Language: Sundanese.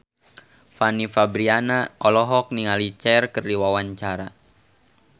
Fanny Fabriana olohok ningali Cher keur diwawancara